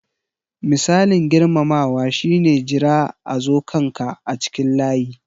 Misalin girmamawa shi ne jira a zo kan ka a cikin layi.